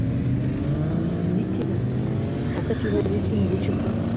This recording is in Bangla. দিচ্ছি তো ওকে চুলকে দিচ্ছি নিজে চুলকছি